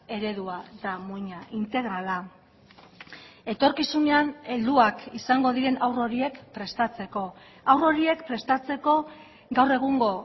eredua da muina integrala etorkizunean helduak izango diren haur horiek prestatzeko haur horiek prestatzeko gaur egungo